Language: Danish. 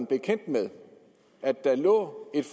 bekendt med at der lå et